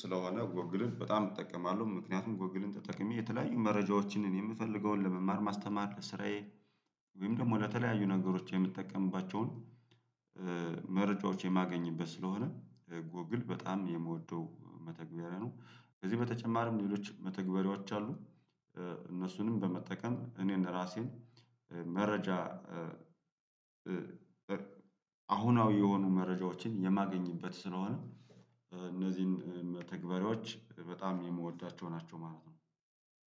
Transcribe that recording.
ስለሆነ ጎግልን በጣም እጠቀማለሁ ምክንያቱም ጎግልን ተጠቅሜ የተለያዩ መረጃዎችን እኔ የምፈልገውን ለመማር ማስተማር ለስራዬ ወይም ደግሞ ለተለያዩ ነገሮች የምትጠቀምባቸውን መረጃዎች የማገኝበት ስለሆነ ጎግል በጣም የምወደው መተግበሪያ ነው። ከዚህ በተጨማሪም ሌሎች መተግበሪያዎች አሉ እነሱንም በመጠቀም እኔ እንደ ራሴን መረጃ አሁናዊ የሆኑ መረጃዎችን የማገኝበት ስለሆነ እነዚህን ተግባሪዎች በጣም የምወዳቸው ናቸው። ማለት ነው።